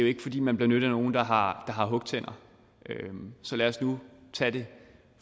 ikke fordi man benytter nogle der har hugtænder så lad os nu tage det